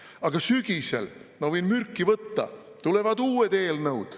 Aga sügisel – ma võin mürki võtta – tulevad uued eelnõud.